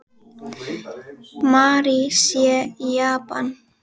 Mary sé í Japan.